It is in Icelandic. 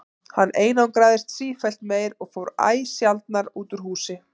Hann einangraðist sífellt meir og fór æ sjaldnar út úr húsi.